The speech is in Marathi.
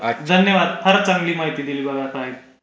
धन्यवाद फारच चांगली माहिती दिली बघा साहेब